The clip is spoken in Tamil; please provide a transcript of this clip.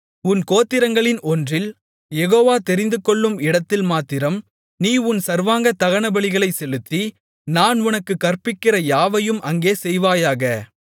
உன் கோத்திரங்களின் ஒன்றில் யெகோவா தெரிந்துகொள்ளும் இடத்தில் மாத்திரம் நீ உன் சர்வாங்க தகனபலிகளைச் செலுத்தி நான் உனக்குக் கற்பிக்கிற யாவையும் அங்கே செய்வாயாக